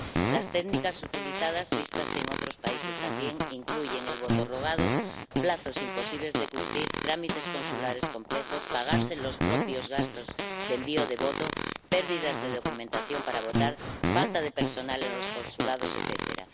Las técnicas utilizadas, vistas en otros países también, incluyen el voto rogado, plazos imposibles de cumplir, trámites consulares complejos, pagarse los propios gastos de envío del voto, pérdidas de la documentación para votar, falta de personal en los consulados, etcétera.